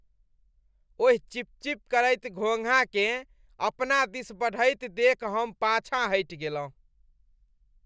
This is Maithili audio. ओहि चिपचिप करैत घोंघाकेँ अपना दिस बढ़ैत देखि हम पाछाँ हटि गेलहुँ।